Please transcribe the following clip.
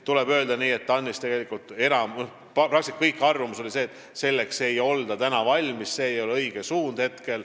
Tuleb öelda, et TAN-is oli peaaegu kõigi arvamus selline, et praegu ei olda selleks veel valmis ja hetkel see ei ole õige suund.